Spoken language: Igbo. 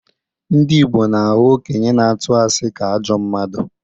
Ndị Igbo na-ahụ okenye na-atụ asị ka ajọ mmadụ.